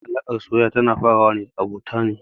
Yawancin alaƙar soyayya na farawa da abota ne.